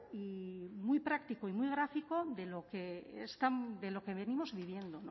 y muy práctico y muy gráfico de lo que venimos viviendo o